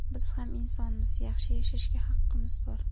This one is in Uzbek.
Biz ham insonmiz, yaxshi yashashga haqimiz bor.